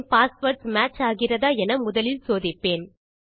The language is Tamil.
என் பாஸ்வேர்ட்ஸ் மேட்ச் ஆகிறதா என்று முதலில் சோதிப்பேன்